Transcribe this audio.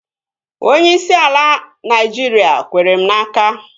Onyeisi ala Naịjiria kwere m n'aka